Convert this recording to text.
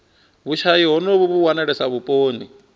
vhushayi honovhu vhu wanalesa vhuponi